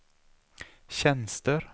tjänster